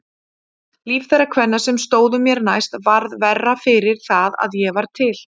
Líf þeirra kvenna sem stóðu mér næst varð verra fyrir það að ég var til.